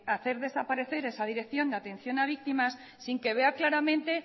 hacer desaparecer esa dirección de atención a víctimas sin que vea claramente